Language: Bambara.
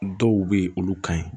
Dɔw bɛ yen olu ka ɲi